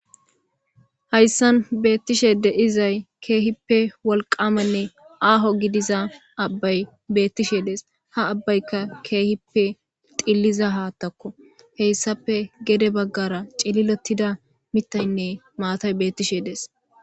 Hayssan beettishe deizay keehippe wolqamanne aaho gidiza abbay beettishe dees ha abbaykka keehippe xilliza haattakko heyssafe gede baggara cililotida mitaynne maatay bettishe dees.